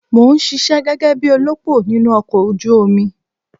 Mò ń ṣisẹ́ gẹ́gẹ́ bí olópò nínú ọkọ̀ ojú omi.